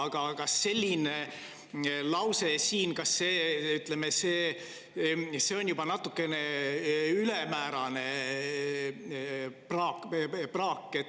Aga kas selline lause siin ei ole juba natukene ülemäärane praak?